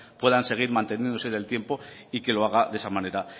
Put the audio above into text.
puedan seguir manteniéndose en el tiempo y que lo haga de esa manera